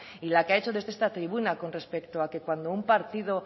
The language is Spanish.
y la que ha hecho desde esta tribuna con respecto a que cuando un partido